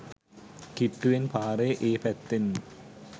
කිට්ටුවෙන් පාරේ ඒ පැත්තේම.